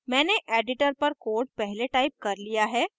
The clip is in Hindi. मैंने editor पर code पहले टाइप कर लिया है